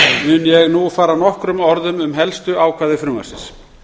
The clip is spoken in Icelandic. mun ég nú fara nokkrum orðum um helstu ákvæði frumvarpsins